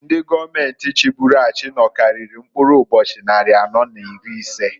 Ndi gọọmenti chiburu achị nọkarịrị mkpụrụ ụbochị nnarị anọọ n'iri ise.